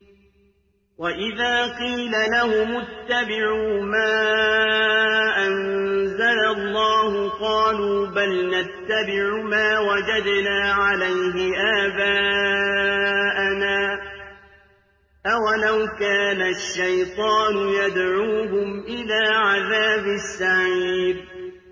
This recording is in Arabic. وَإِذَا قِيلَ لَهُمُ اتَّبِعُوا مَا أَنزَلَ اللَّهُ قَالُوا بَلْ نَتَّبِعُ مَا وَجَدْنَا عَلَيْهِ آبَاءَنَا ۚ أَوَلَوْ كَانَ الشَّيْطَانُ يَدْعُوهُمْ إِلَىٰ عَذَابِ السَّعِيرِ